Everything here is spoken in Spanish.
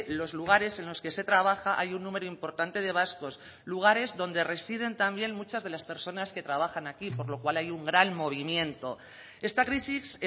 los lugares en los que se trabaja hay un número importante de vascos lugares donde residen también muchas de las personas que trabajan aquí por lo cual hay un gran movimiento esta crisis